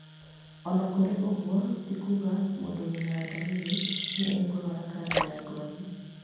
Ona kũrĩ oũguo ti kuga mũndũ wĩna dariri nĩ ekũrũara kanja ya ngothi